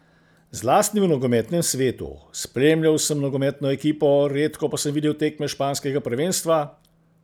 Zlasti v nogometnem svetu: "Spremljal sem nogometno ekipo, redko pa sem videl tekme španskega prvenstva.